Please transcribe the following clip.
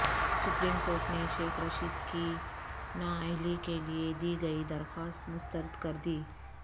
supreme court نے شیخ رشید کی نااہلی کے لیے دی گئی درخواست مسترد کر دی